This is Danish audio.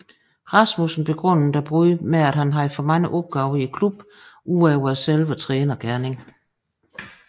Rasmussen begrundede bruddet med at han havde for mange opgaver i klubben udover selve trænergerningen